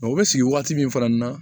u bɛ sigi waati min fana na